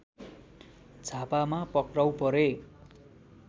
झापामा पक्राउ परे